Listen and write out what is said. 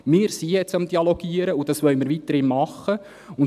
Wir sind jetzt daran, den Dialog zu führen, und das wollen wir weiterhin tun.